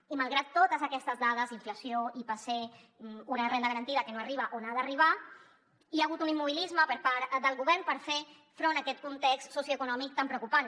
i malgrat totes aquestes dades inflació ipc una renda garantida que no arriba on ha d’arribar hi ha hagut un immobilisme per part del govern per fer front a aquest context socioeconòmic tan preocupant